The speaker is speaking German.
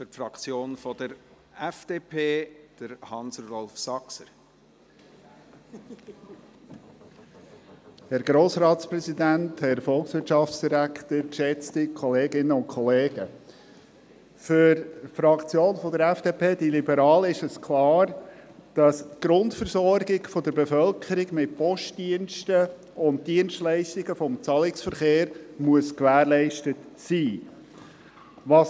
Für die Fraktion FDP, die Liberalen, ist es klar, dass die Grundversorgung der Bevölkerung mit Postdiensten und Dienstleistungen des Zahlungsverkehrs gewährleistet sein muss.